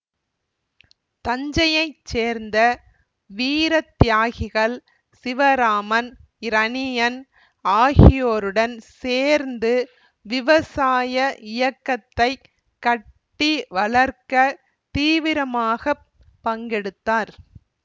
தஞ்சையைச் சேர்ந்த வீர தியாகிகள் சிவராமன் இரணியன் ஆகியோருடன் சேர்ந்து விவசாய இயக்கத்தை கட்டி வளர்க்க தீவிரமாக பங்கெடுத்தார்